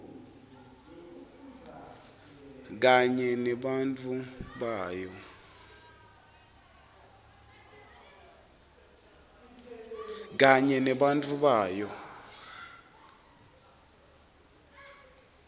kanye nebantfu bayo